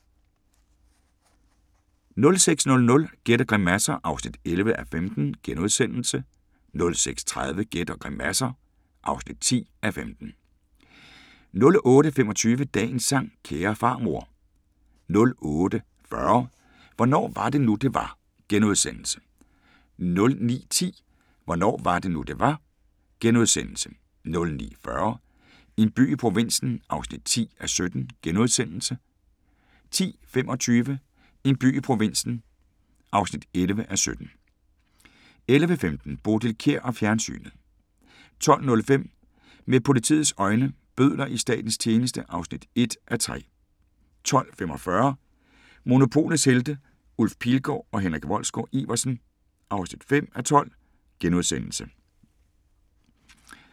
06:00: Gæt og grimasser (11:15)* 06:30: Gæt og grimasser (10:15) 08:25: Dagens sang: Kære farmor 08:40: Hvornår var det nu, det var? * 09:10: Hvornår var det nu, det var? * 09:40: En by i provinsen (10:17)* 10:25: En by i provinsen (11:17) 11:15: Bodil Kjer og fjernsynet 12:05: Med politiets øjne: Bødler i Statens tjeneste (1:3) 12:45: Monopolets Helte – Ulf Pilgaard og Henrik Wolsgaard-Iversen (5:12)*